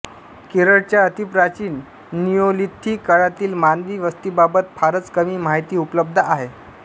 केरळच्या अतिप्राचीन निओलिथिक काळातील मानवी वस्तीबाबत फारच कमी माहिती उपलब्ध आहे